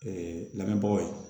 Ee lamɛnbagaw ye